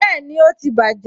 Bẹẹni, ó ti bàjé